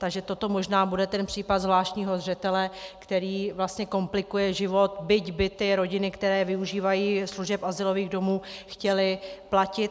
Takže toto možná bude ten případ zvláštního zřetele, který vlastně komplikuje život, byť by ty rodiny, které využívají služeb azylových domů, chtěly platit.